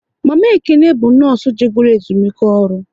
Mama Ekene bụ nọọsụ je goro ezumike ọrụ